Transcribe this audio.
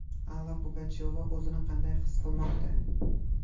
Alla Pugachyova o‘zini qanday his qilmoqda?.